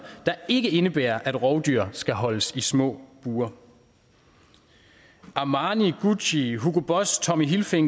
der ikke indebærer at rovdyr skal holdes i små bure armani gucci hugo boss tommy hilfiger